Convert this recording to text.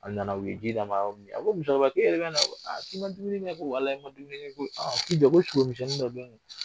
A nana u ye ji d'a ma, a y'o min. A ko musokɔrɔba k'e yɛrɛ bɛ na, ko k'i ma dumuni kɛ. A ko walahi ma dumuni kɛ koyi. k'i jɔ ko sogo misɛnnin dɔ bɛ n kun.